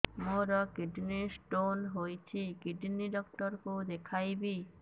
ମୋର kidney stone ହେଇଛି kidney doctor କୁ ଦେଖାଇବି